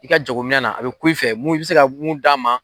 I ka jaago minɛ na a bɛ ku i fɛ mun, i bɛ se ka mun d'a ma.